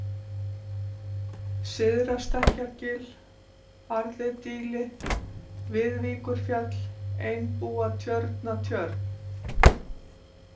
Syðra-Stekkjargil, Harðidíli, Viðvíkurfjall, Einbúatjörnatjörn